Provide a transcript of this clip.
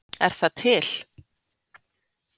Er það til?